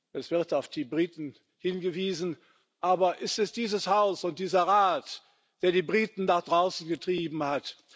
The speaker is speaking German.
Es wird auf die Briten hingewiesen, aber es sind dieses Haus und dieser Rat, die die Briten nach draußen getrieben haben.